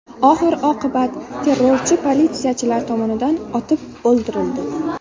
Oxir-oqibat terrorchi politsiyachilar tomonidan otib o‘ldirildi.